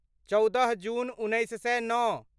चौदह जून उन्नैस सए नओ